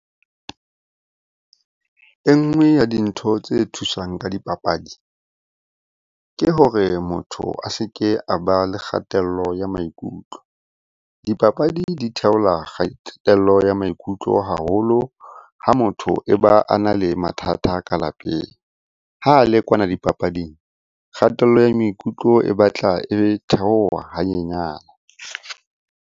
E nngwe ya dintho tse thusang ka dipapadi, ke hore motho a se ke a ba le kgatello ya maikutlo. Dipapadi di theola kgatello ya maikutlo haholo ha motho e ba a na le mathata ka lapeng. Ha le kwana dipapading, kgatello ya maikutlo e batla e theoha ha nyenyane.